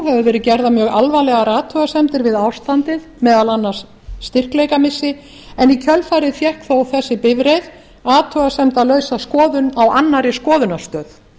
höfðu verið gerðar mjög alvarlegar athugasemdir við ástandið meðal annars styrkleikamissi en í kjölfarið fékk þó þessi bifreið athugasemdalausa skoðun á annarri skoðunarstöð